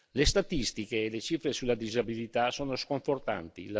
Le statistiche e le cifre sulla disabilità sono sconfortanti.